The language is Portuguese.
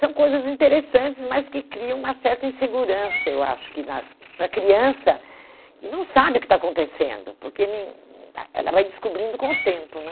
São coisas interessantes, mas que criam uma certa insegurança, eu acho que na, para a criança, que não sabe o que está acontecendo, porque nem ah ela vai descobrindo com o tempo, né?